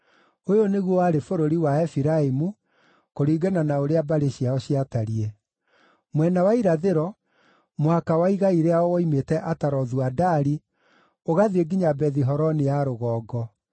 Ũyũ nĩguo warĩ bũrũri wa Efiraimu, kũringana na ũrĩa mbarĩ ciao ciatariĩ: mwena wa irathĩro, mũhaka wa igai rĩao woimĩte Atarothu-Adari ũgathiĩ nginya Bethi-Horoni ya Rũgongo,